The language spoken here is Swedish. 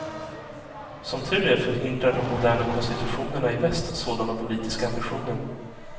Som tur är förhindrar de moderna konstitutionerna i väst sådana politiska ambitioner.